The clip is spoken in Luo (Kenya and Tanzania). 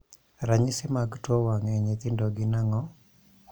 Ranyisi mag tuo wang' e nyithindo gin ang'o?